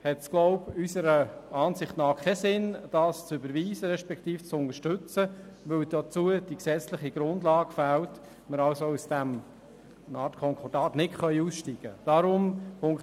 Unserer Ansicht nach macht es keinen Sinn, den Punkt 2 zu überweisen beziehungsweise zu unterstützen, weil dafür die gesetzliche Grundlage fehlt und wir aus dieser Art Konkordat nicht aussteigen können.